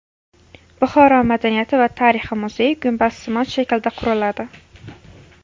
Buxoro madaniyati va tarixi muzeyi gumbazsimon shaklda quriladi.